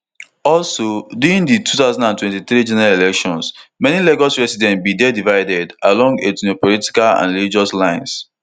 also during di two thousand and twenty-three general elections many lagos residents bin dey divided along ethnopolitical and religious lines